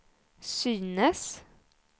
synes